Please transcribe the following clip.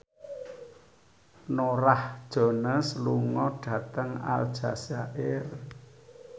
Norah Jones lunga dhateng Aljazair